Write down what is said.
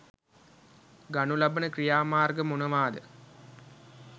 ගනු ලබන ක්‍රියාමාර්ග මොනවාද?